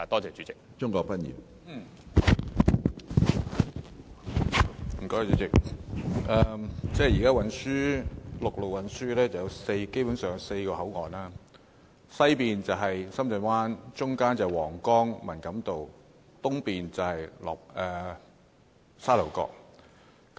主席，現時陸路運輸基本上有4個口岸，即西面是深圳灣，中間是皇崗和文錦渡，東面是沙頭角。